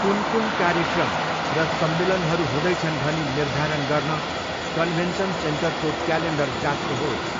कुन कुन कार्यक्रम र सम्मेलनहरू हुँदैछन् भनी निर्धारण गर्न कन्भेन्सन सेन्टरको क्यालेन्डर जाँच्नुहोस्।